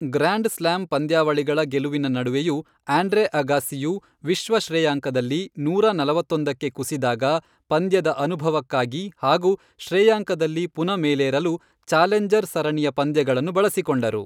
Grand slam ಪಂದ್ಯಾವಳಿಗಳ ಗೆಲುವಿನ ನಡುವೆಯೂ ಆಂಡ್ರೆ ಅಗಾಸ್ಸಿಯು ವಿಶ್ವ ಶ್ರೇಯಾಂಕದಲ್ಲಿ ನೂರಾ ನಲವತ್ತೊಂದಕ್ಕೆ ಕುಸಿದಾಗ, ಪಂದ್ಯದ ಅನುಭವಕ್ಕಾಗಿ ಹಾಗೂ ಶ್ರೇಯಾಂಕದಲ್ಲಿ ಪುನ ಮೇಲೆರಲು ಚಾಲೆಂಜರ್ ಸರಣಿಯ ಪಂದ್ಯಗಳನ್ನು ಬಳಸಿಕೊಂಡರು.